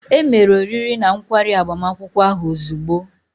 E mere oriri na nkwari agbamakwụkwọ ahụ ozugbo.